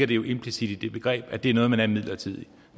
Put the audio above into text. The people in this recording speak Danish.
det jo implicit i det begreb at det er noget man er midlertidigt